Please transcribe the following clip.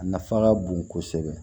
A nafa ka bon kosɛbɛ